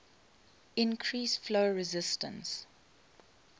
increase flow resistance